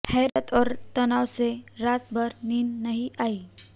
हैरत और तनाव से रात भर नींद नहीं आई